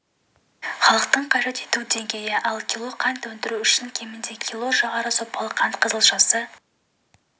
халықтың қажет ету деңгейі ал кило қант өндіру үшін кемінде кило жоғары сапалы қант қызылшасы